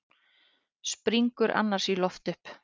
Springur annars í loft upp.